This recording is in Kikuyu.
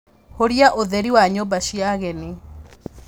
Hũria ũtheri wa nyũmba cia ageni